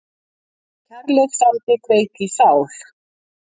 Þú kærleiksandi kveik í sál